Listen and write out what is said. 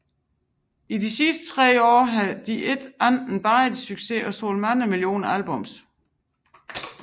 I de sidste tre år havde de ikke andet end badet i succes og solgt mange millioner albums